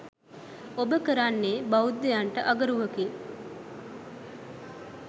ඔබ කරන්නේ බ්‍යෙද්ධයන්ට අගරුවකි.